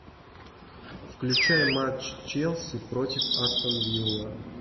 включай матч челси против астон вилла